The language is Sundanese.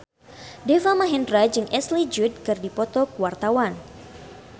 Deva Mahendra jeung Ashley Judd keur dipoto ku wartawan